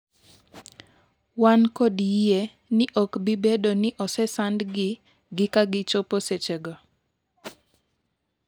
wan kod yie ni ok bi bedo ni osesandgi' gi ka ochopo sechego